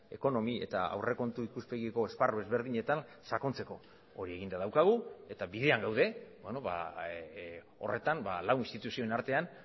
ekonomi eta aurrekontu ikuspegiko esparru ezberdinetan sakontzeko hori eginda daukagu eta bidean gaude horretan lau instituzioen artean